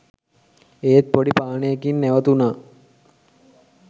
ඒත් පොඩි පානයකින් නැවතුනා